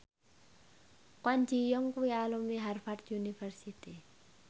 Kwon Ji Yong kuwi alumni Harvard university